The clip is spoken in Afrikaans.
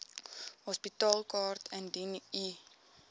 hospitaalkaart indien u